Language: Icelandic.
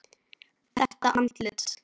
Þetta andlit.